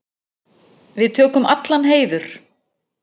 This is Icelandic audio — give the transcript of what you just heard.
Við tökum allan heiður.